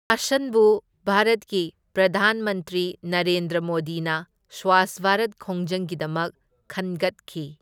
ꯚꯥꯔꯠꯀꯤ ꯄ꯭ꯔꯙꯥꯟ ꯃꯟꯇ꯭ꯔꯤ ꯅꯔꯦꯟꯗ꯭ꯔ ꯃꯣꯗꯤꯅ ꯁ꯭ꯋꯥꯁ ꯚꯥꯔꯠ ꯈꯣꯡꯖꯪꯒꯤꯗꯃꯛ ꯈꯟꯒꯠꯈꯤ꯫